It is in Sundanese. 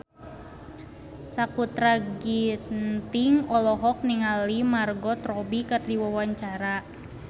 Sakutra Ginting olohok ningali Margot Robbie keur diwawancara